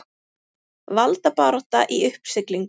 Valdabarátta í uppsiglingu